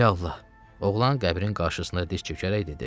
Rəhimli Allah, oğlan qəbrin qarşısında diz çökərək dedi: